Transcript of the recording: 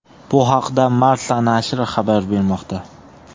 Bu haqida Marca nashri xabar bermoqda .